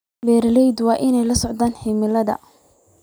Beeralayda waa inay la socdaan cimilada.